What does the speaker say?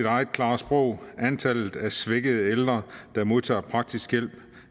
eget klare sprog antallet af svækkede ældre der modtager praktisk hjælp